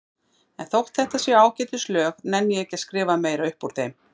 En þótt þetta séu ágætis lög nenni ég ekki að skrifa meira upp úr þeim.